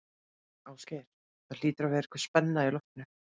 Ásgeir, það hlýtur að vera spenna á í loftinu?